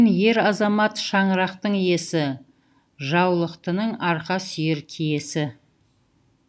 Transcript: ер азамат шаңырақтың иесі жаулықтының арқа сүйер киесі